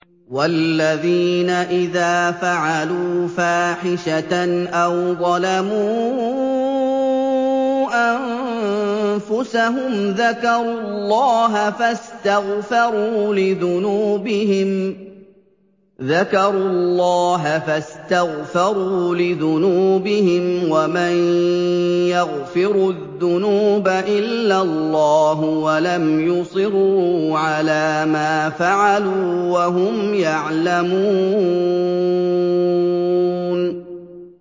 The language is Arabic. وَالَّذِينَ إِذَا فَعَلُوا فَاحِشَةً أَوْ ظَلَمُوا أَنفُسَهُمْ ذَكَرُوا اللَّهَ فَاسْتَغْفَرُوا لِذُنُوبِهِمْ وَمَن يَغْفِرُ الذُّنُوبَ إِلَّا اللَّهُ وَلَمْ يُصِرُّوا عَلَىٰ مَا فَعَلُوا وَهُمْ يَعْلَمُونَ